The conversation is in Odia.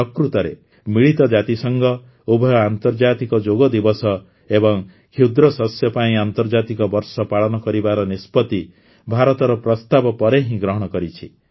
ପ୍ରକୃତରେ ମିଳିତ ଜାତିସଂଘ ଉଭୟ ଆନ୍ତର୍ଜାତିକ ଯୋଗ ଦିବସ ଏବଂ କ୍ଷୁଦ୍ର ଶସ୍ୟ ପାଇଁ ଆନ୍ତର୍ଜାତିକ ବର୍ଷ ପାଳନ କରିବାର ନିଷ୍ପତି ଭାରତର ପ୍ରସ୍ତାବ ପରେ ହିଁ ଗ୍ରହଣ କରିଛି